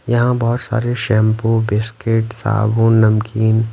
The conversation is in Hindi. यहां बहोत सारे शैंपू बिस्किट साबुन नमकीन--